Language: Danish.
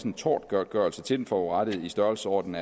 en tortgodtgørelse til den forurettede i størrelsesordenen